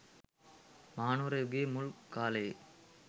මහනුවර යුගයේ මුල් කාලයේ